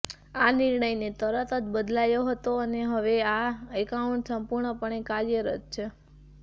આ નિર્ણયને તરત જ બદલાયો હતો અને હવે આ એકાઉન્ટ સંપૂર્ણપણે કાર્યરત છે